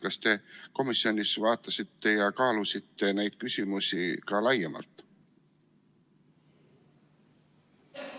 Kas te komisjonis vaatasite ja kaalusite neid küsimusi ka laiemalt?